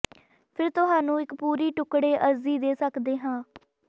ਫਿਰ ਤੁਹਾਨੂੰ ਇੱਕ ਪੂਰੀ ਟੁਕਡ਼ੇ ਅਰਜ਼ੀ ਦੇ ਸਕਦੇ ਹੋ